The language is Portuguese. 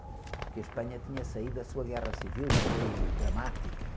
Porque a Espanha tinha saído da sua guerra civil, que foi dramática.